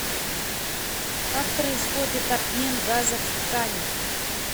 как происходит обмен газов в тканях